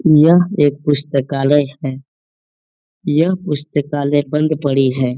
यह एक पुस्तकालय है यह पुस्तकालय बंद पड़ी है।